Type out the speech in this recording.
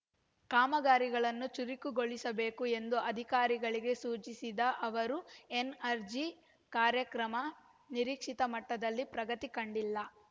ಕಾಮಗಾರಿಗಳನ್ನು ಚುರುಕುಗೊಳಿಸಬೇಕು ಎಂದು ಅಧಿಕಾರಿಗಳಿಗೆ ಸೂಚಿಸಿದ ಅವರು ಎನ್‌ಆರ್‌ಜಿ ಕಾರ್ಯಕ್ರಮ ನಿರೀಕ್ಷಿತ ಮಟ್ಟದಲ್ಲಿ ಪ್ರಗತಿ ಕಂಡಿಲ್ಲ